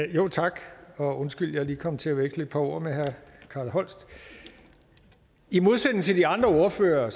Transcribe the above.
tak og undskyld at jeg lige kom til at veksle et par ord med herre carl holst i modsætning til de andre ordførere